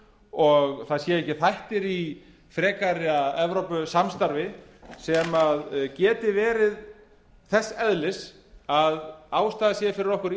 og það séu ekki þættir í frekara evrópusamstarfi sem geti verið þess eðlis að ástæða sé fyrir okkur